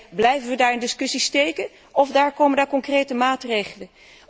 Alleen, blijven we daar in discussie steken of komen er concrete maatregelen?